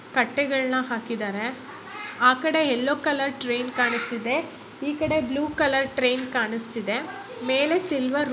ಕಟ್ಟೆಗಳ್ನ ಹಾಕಿದ್ದಾರೆ ಆ ಕಡೆ ಯೆಲ್ಲೊ ಕಲರ್ ಟ್ರೈನ್ ಕಾಣಿಸ್ತಿದೆ ಈ ಕಡೆ ಬ್ಲೂ ಕಲರ್ ಟ್ರೈನ್ ಕಾಣಿಸ್ತಿದೆ. ಮೇಲೆ ಸಿಲ್ವರ್ --